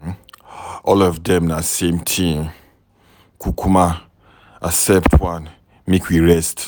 All of dem na the same thing. Kukuma accept one make we rest.